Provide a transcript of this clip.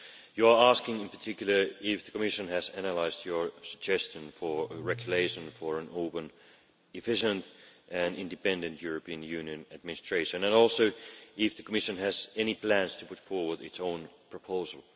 You ask, in particular, if the Commission has analysed your suggestion for a regulation for an open, efficient and independent European Union administration, and whether the Commission has any plans to put forward its own proposal.